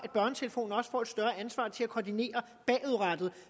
at koordinere bagudrettet